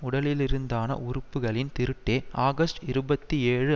உடலிலிருந்தான உறுப்புக்களின் திருட்டே ஆகஸ்ட் இருபத்தி ஏழு